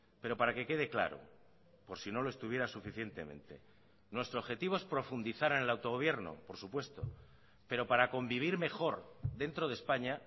pero para que quede claro por si no lo estuviera suficientemente nuestro objetivo es profundizar en el autogobierno por supuesto pero para convivir mejor dentro de españa